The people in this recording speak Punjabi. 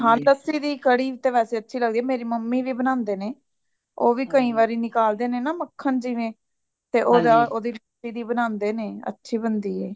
ਹਾਂ ਲੱਸੀ ਦੀ ਕੜੀ ਵੈਸੇ ਅੱਛੀ ਲੱਗਦੀ ਵੇ ਮੇਰੀ mummy ਵੀ ਬਾਨਾਂਦੇਣੇ, ਉਹ ਵੀ ਕਈ ਵਾਰੀ ਨਿਕਾਲਦੇ ਨੇ ਨਾ ਮੱਖਣ ਜਿਵੇ ਤੇ ਓਹਦਾਲੱਸੀ ਦੀ ਬਾਨਾਂਦੇਨੇ ਅੱਛੀ ਬੰਦੀ ਏ